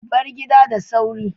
Bar gidan da sauri.